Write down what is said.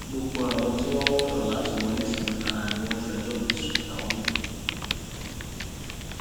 gbogbo àwọn tí wọn ń wọnà láti wọlé sí mi lára ni wọn ń fẹjọ mi sún ìyàwó mi